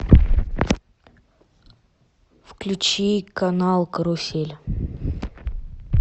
включи канал карусель